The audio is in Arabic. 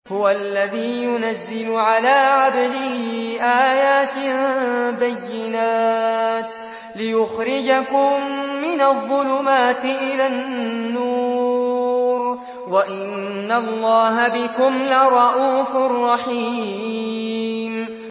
هُوَ الَّذِي يُنَزِّلُ عَلَىٰ عَبْدِهِ آيَاتٍ بَيِّنَاتٍ لِّيُخْرِجَكُم مِّنَ الظُّلُمَاتِ إِلَى النُّورِ ۚ وَإِنَّ اللَّهَ بِكُمْ لَرَءُوفٌ رَّحِيمٌ